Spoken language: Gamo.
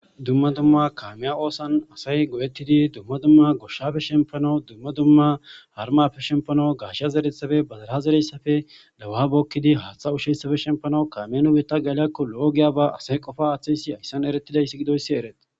Dumma dumma kaamiya oosuwan asay go7etidi dumma dumma goshshappe shemppanaw dumma dumma harumappe shemppanaw gaashiya zereththappe , badala zereyssappe , dahuwa bookidi haaththa ushiyayssappe kaammen nu biitta geliyakko loo giyaaba asay qofa aaththiyayssi hayssan eretidayssi gidoyssi eretidees.